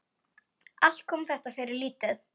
Allt kom þetta fyrir lítið.